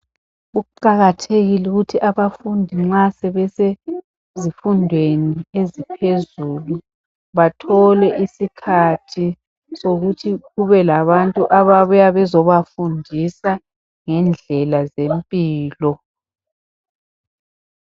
Kuqakathekile ukuthi abafundi nxa sebesezifundweni esiphezulu, bathole isikhathi ukuthi kubelabantu ababuya bezebafundisa ngendlela zempilo.